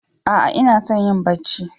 A'a inason yin Bacci?